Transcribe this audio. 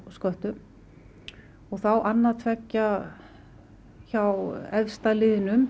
sköttum og þá annað tveggja hjá efsta liðnum